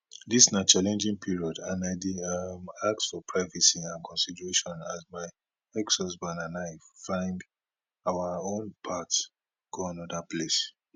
dis na challenging period and i dey um ask for privacy and consideration as my exhusband and i find our own path go anoda place